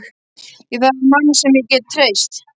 Ég þarf mann sem ég get treyst.